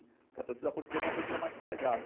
Porque a torcida portuguesa é uma torcida mais sossegada.